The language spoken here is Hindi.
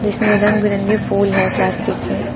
इसमें रंग बिरंगे हैं प्लास्टिक के।